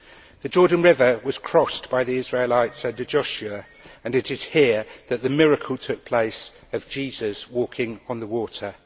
The Jordan River was crossed by the Israelites under Joshua, and it is here that the miracle took place of Jesus walking on the water.